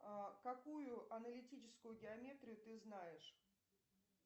какую аналитическую геометрию ты знаешь